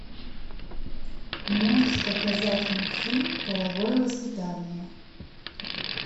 можешь показать мультфильм половое воспитание